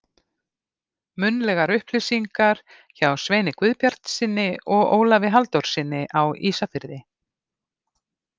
Munnlegar upplýsingar hjá Sveini Guðbjartssyni og Ólafi Halldórssyni á Ísafirði.